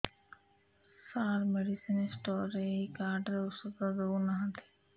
ସାର medicine store ରେ ଏଇ card ରେ ଔଷଧ ଦଉନାହାନ୍ତି